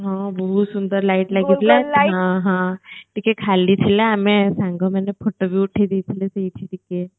ହଁ ବହୁତ ସୁନ୍ଦର light ଲାଗିଥିଲା ହଁ ହଁ ଟିକେ ଖାଲି ଥିଲା ଆମେ ସାଙ୍ଗମାନେ photoବି ଉଠେଇ ଦେଇଥିଲୁ ସେଇଠି ଟିକେ